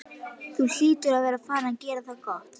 Þú hlýtur að vera farinn að gera það gott!